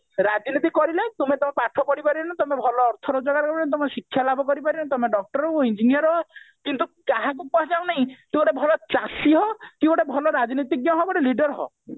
ରାଜନୀତି କରିଲେ ତୁମ ତୁମର ପାଠ ପଢି ପାରିବନି ତମେ ଭଲ ଅର୍ଥ ରୋଜଗାର କରିପାରିବନି ତମେ ଶିକ୍ଷାଲାଭ କରିପାରିବନି ତମେ doctor ହୁଅ engineer ହୁଅ କିନ୍ତୁ କାହାକୁ କୁହାଯାଉନାହିଁ କି ତୁ ଗୋଟେ ଭଲ ଚାଷୀ ହ କି ଗୋଟେ ଭଲ ରାଜନୀତିଜ୍ଞ ହ କି ଗୋଟେ leader ହ